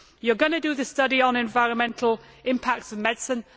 You are going to do the study on the environmental impacts of medicine.